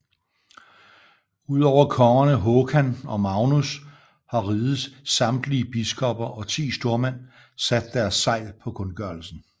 Udover kongerne Håkan og Magnus har rigets samtlige biskopper og ti stormænd sat deres segl på kundgørelsen